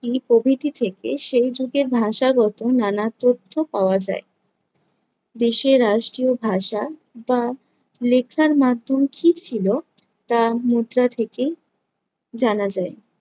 প্রভৃতি থেকে সেই যুগের ভাষাগত নানা তথ্য পাওয়া যায়। দেশে রাষ্ট্রীয় ভাষা বা লেখার মাধ্যম কী ছিল তা মুদ্রা থেকেই জানা যায়।